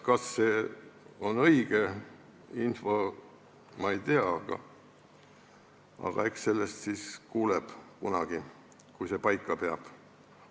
Kas see on õige info, seda ma ei tea, aga eks sellest kuuleb kunagi, kui see paika peab.